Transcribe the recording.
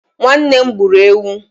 Nwannem gburu ewu